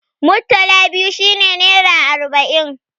Murtala biyu shi ne nera arba'in.